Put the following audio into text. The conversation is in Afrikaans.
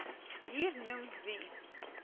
hier noem wie